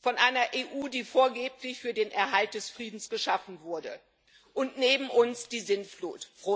von einer EU, die vorgeblich für den Erhalt des Friedens geschaffen wurde, und nach uns die Sintflut.